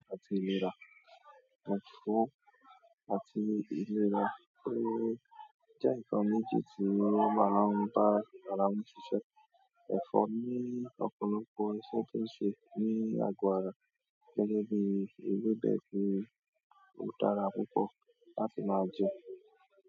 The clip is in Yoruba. Àti ìlera, òtúnfọ̀ àti ìlera pé jẹ́ ǹkan méjì tí ó má ń bá ara wọn ṣiṣẹ́. Ẹ̀fọ́ ní ọ̀pọ̀lọpọ̀ iṣẹ́ tó ń ṣe ní àgọ́ ara gẹ́gẹ́ bí ewébẹ̀ tí ó dára púpọ̀ láti máa jẹ.